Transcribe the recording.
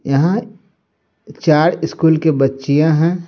यहां चार स्कूल के बच्चियां है।